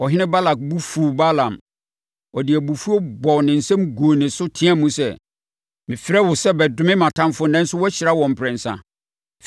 Ɔhene Balak bo fuu Balaam. Ɔde Abufuo bɔɔ ne nsam guu ne so teaam sɛ, “Mefrɛɛ wo sɛ bɛdome, mʼatamfoɔ nanso woahyira wɔn mprɛnsa.